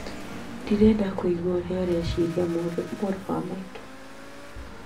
Ndĩrenda kũigua ũrĩa ũreciria mũrũ wa maitũ